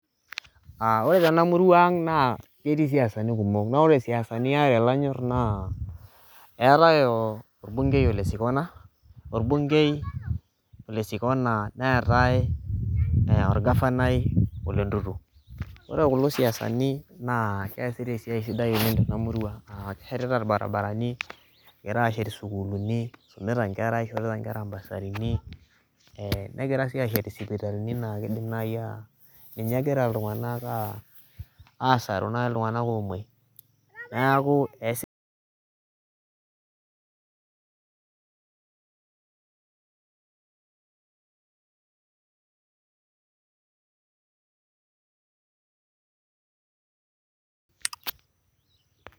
Ore Tena murua naa ketii siasani kumok naa ore siasani are kanyor naa etae orbungei ole sikona neetae orgavanai ole ntutu ore kulo siasani naa kesitai esiai sidai oleng Tena murua keshetita irbaribarani kegira ashet sukuulini esumita Nkera naa kishorita enkera bursarini nagira sii ateshit sipitalini naa ninye egira iltung'ana asaru naaji iltung'ana omuoi neeku